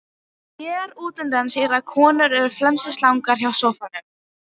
Sér útundan sér að konurnar eru felmtri slegnar hjá sófanum.